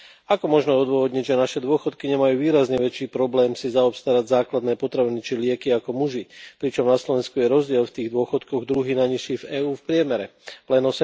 Ako možno odôvodniť, že naše dôchodkyne majú výrazne väčší problém si zaobstarať základné potraviny či lieky ako muži, pričom na Slovensku je rozdiel v tých dôchodkoch druhý najnižší v EÚ v priemere len